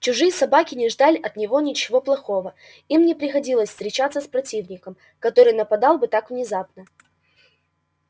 чужие собаки не ждали от него ничего плохого им не приходилось встречаться с противником который нападал бы так внезапно